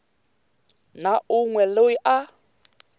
na un we loyi a